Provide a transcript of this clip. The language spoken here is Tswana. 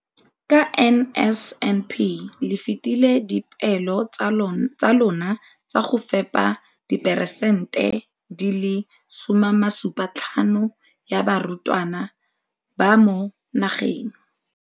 Ka NSNP le fetile dipeelo tsa lona tsa go fepa 75 percent ya barutwana ba mo nageng.